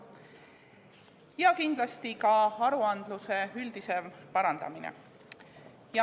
Ja kindlasti ka aruandluse üldisem parandamine.